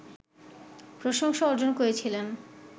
প্রশংসা অর্জন করেছিলেন